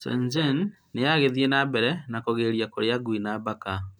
Shenzhen nĩ ĩgĩthiĩ na mbere na kũgiria kũrĩa ngui na paka.